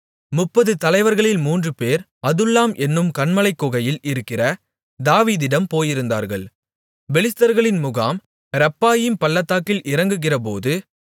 முப்பது தலைவர்களில் மூன்றுபேர் அதுல்லாம் என்னும் கன்மலைக் குகையில் இருக்கிற தாவீதிடம் போயிருந்தார்கள் பெலிஸ்தர்களின் முகாம் ரெப்பாயீம் பள்ளத்தாக்கில் இறங்குகிறபோது